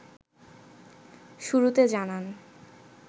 শুরুতে জানান